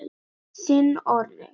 Þinn Orri.